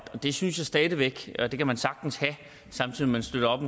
det synes jeg stadig væk at man sagtens kan at man støtter op